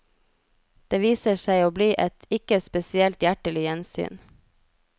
Det viser seg å bli et ikke spesielt hjertelig gjensyn.